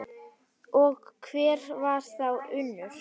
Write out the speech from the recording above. Og hver var þá Unnur?